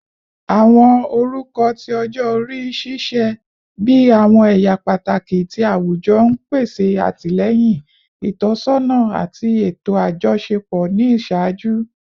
Awọn orukọ ti ọjọ-ori ṣiṣẹ bi awọn ẹya pataki ti awujọ, n pese atilẹyin, itọsọna, ati eto ajọṣepọ ni iṣaaju.